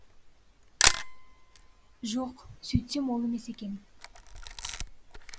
жоқ сөйтсем ол емес екен